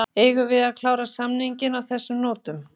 Eigum við að klára samninginn á þessum nótum?